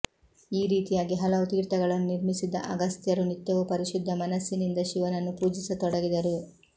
ಈ ರೀತಿಯಾಗಿ ಹಲವು ತೀರ್ಥಗಳನ್ನು ನಿರ್ಮಿಸಿದ ಅಗಸ್ತ್ಯರು ನಿತ್ಯವೂ ಪರಿಶುದ್ಧ ಮನಸ್ಸಿನಿಂದ ಶಿವನನ್ನು ಪೂಜಿಸ ತೊಡಗಿದರು